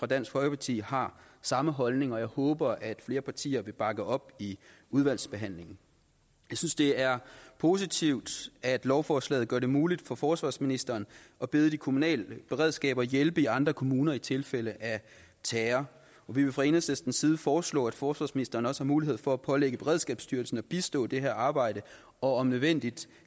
dansk folkeparti har samme holdning og jeg håber at flere partier vil bakke det op i udvalgsbehandlingen jeg synes det er positivt at lovforslaget gør det muligt for forsvarsministeren at bede de kommunale beredskaber hjælpe i andre kommuner i tilfælde af terror og vi vil fra enhedslistens side foreslå at forsvarsministeren også har mulighed for at pålægge beredskabsstyrelsen at bistå i det her arbejde og om nødvendigt